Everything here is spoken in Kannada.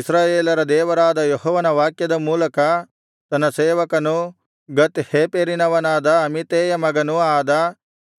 ಇಸ್ರಾಯೇಲರ ದೇವರಾದ ಯೆಹೋವನ ವಾಕ್ಯದ ಮೂಲಕ ತನ್ನ ಸೇವಕನೂ ಗತ್ ಹೇಫೆರಿನವನಾದ ಅಮಿತ್ತೈಯನ ಮಗನೂ ಆದ